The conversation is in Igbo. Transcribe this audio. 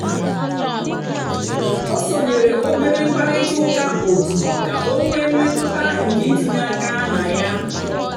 ó sónyéré óbérè mkpàrị́tà ụ́ká ótù kà ọ́ nwée mmétụ́tà nkè ítínyé áká nà yá.